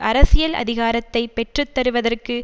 அரசியல் அதிகாரத்தை பெற்றுத்தருவதற்கு